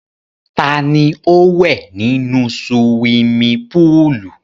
Ta ni ó wẹ̀ nínú suwimi púùlù?